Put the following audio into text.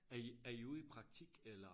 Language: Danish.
Er i er i ude i praktik eller